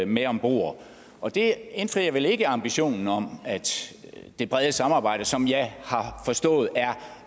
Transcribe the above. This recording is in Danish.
med om bord og det indfrier vel ikke ambitionen om det brede samarbejde som jeg har forstået er